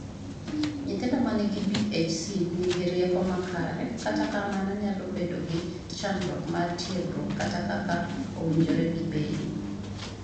Nyithindo man gi BHC ni gi rieko makare, kata kamano nyalo bedo gi chandruok mar tiegruok kata kaka owinjore gi bedi.